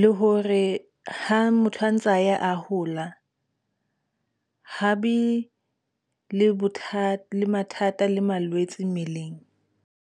le hore ha motho a ntse a ya a hola haebe le bothata le mathata, le malwetse mmeleng.